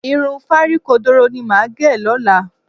Irun fárí kodoro ni màá gẹ̀ lọ́la